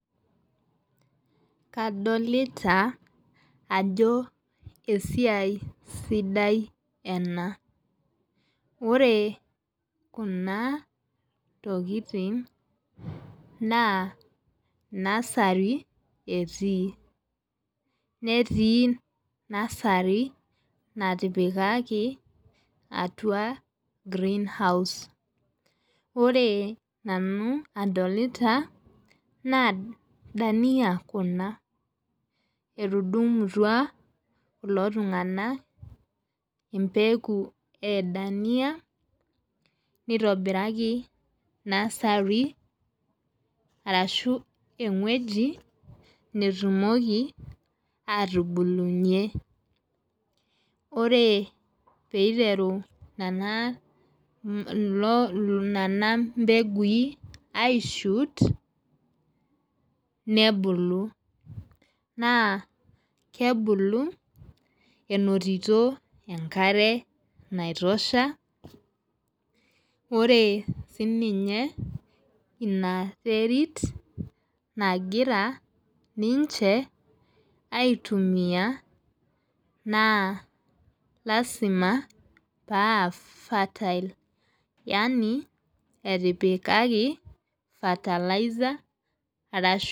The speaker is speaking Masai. Kadolita ajo esiai sidai enaa. Ore kuna tokitin naa nursery etii. Neeti nursery natipikaki atua greenhouse. Ore nanu idolita naa dania kuna. Etudungum'utua kulo tung'ana empeku ee dania nitobiraki nursery arashu eng'ueji natumoki atubulunye. Ore peiteru ina lelo nena mbeguin ai shoot nebulu. Naa kebulu enotito enkare naitosha. Ore sii ninye ina terit nagira ninche aitumia naa lasima paa fertile yaani itipikaki fertilizer arashu.